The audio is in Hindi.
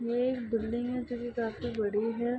ये एक बिल्डिंग है जो की काफी बड़ी है।